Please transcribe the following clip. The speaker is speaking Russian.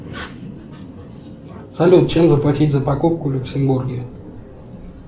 салют чем заплатить за покупку в люксембурге